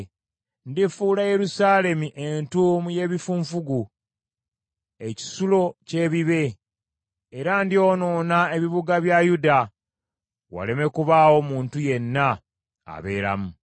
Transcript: “Ndifuula Yerusaalemi entuumu y’ebifunfugu, ekisulo ky’ebibe. Era ndyonoona ebibuga bya Yuda waleme kubaawo muntu yenna abeeramu.”